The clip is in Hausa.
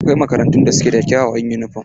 Akwai makarantun da suke da kyawawan yunifom.